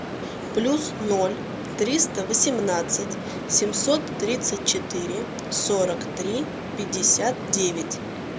плюс ноль триста восемнадцать семьсот тридцать четыре сорок три пятьдесят девять